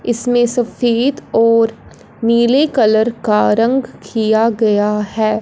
इसमें सफेद और नीले कलर का रंग किया गया है।